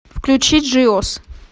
включи джиос